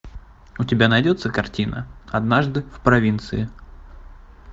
у тебя найдется картина однажды в провинции